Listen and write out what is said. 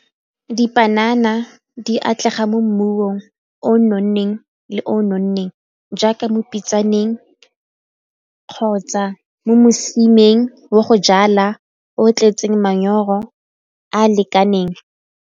Dipanana di atlega mo mmung o o nonneng le o o nonneng jaaka mo dipitsaneng kgotsa mo mosimaneng wa go jala o tletseng manyoro a a lekaneng.